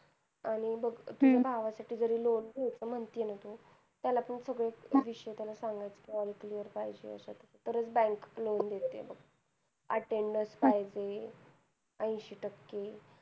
आणि बघ तुझ्या भावासाठी जरी loan घ्यायचं म्हणतेय ना तू. त्याला पण सगळे विषय त्याला सांगायचं, कि बाबा clear पाहिजे. तरं चं bank loan देते. attendance पाहिजे. ऐंशी टक्के.